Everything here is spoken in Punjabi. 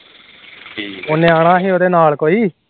ਉਹ ਨਿਆਣਾ ਸੀ ਉਹਦੇ ਨਾਲ ਕੋਈ